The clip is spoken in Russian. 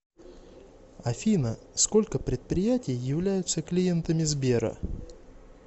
афина сколько предприятий являются клиентами сбера